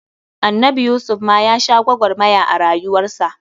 Annabi Yusuf ma ya sha gwagwarmaya a rayuwar sa.